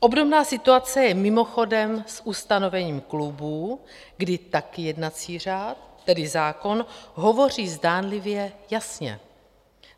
Obdobná situace je mimochodem s ustanovením klubů, kdy taky jednací řád, tedy zákon, hovoří zdánlivě jasně.